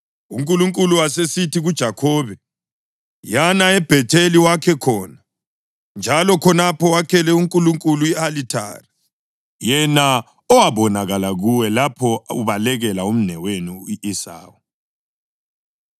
UNkulunkulu wasesithi kuJakhobe, “Yana eBhetheli wakhe khona, njalo khonapho wakhele uNkulunkulu i-alithari, yena owabonakala kuwe lapho ubalekela umnewenu u-Esawu.”